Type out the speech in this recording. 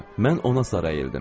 Mən ona sarı əyildim.